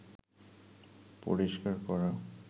পরিষ্কার করা